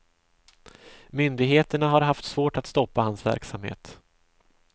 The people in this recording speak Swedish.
Myndigheterna har haft svårt att stoppa hans verksamhet.